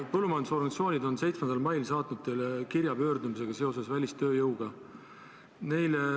Põllumajandusorganisatsioonid saatsid 7. mail teile kirja pöördumisega seoses välistööjõuga.